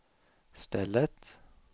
stället